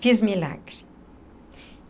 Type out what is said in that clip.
Fiz milagre.